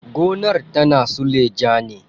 Gonar tana suleja ne.